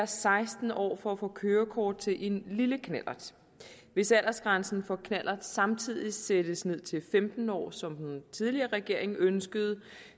seksten år for at få kørekort til en lille knallert hvis aldersgrænsen for knallert samtidig sættes ned til femten år som den tidligere regering ønskede